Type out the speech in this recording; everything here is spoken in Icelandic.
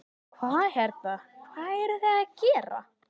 Hvað hérna, hvað eruð þið að gera?